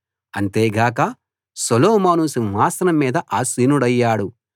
అంతేగాక సొలొమోను సింహాసనం మీద ఆసీనుడయ్యాడు